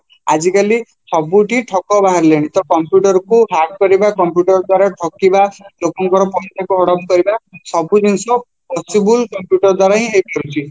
ଆଜିକାଲି ସବୁଠି ଠକ ବାହାରିଲେଣି computerକୁ hack କରିବା computer ଦ୍ଵାରା ଠକିବା ଲୋକଙ୍କର ପଇସାକୁ ହଡପ କରିବା ସବୁଜିନିଷ ପଛକୁ computer ଦ୍ଵାରାହିଁ ହେଇପାରୁଛି